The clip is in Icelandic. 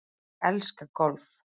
Ég elska golf.